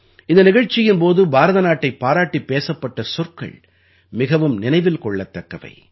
இந்த நிகழ்ச்சியின் போது பாரத நாட்டைப் பாராட்டிப் பேசப்பட்ட சொற்கள் மிகவும் நினைவில் கொள்ளத்தக்கவை